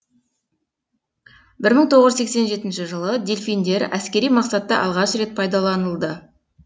бір мың тоғыз жүз сексен жетінші жылы дельфиндер әскери мақсатта алғаш рет пайдаланылды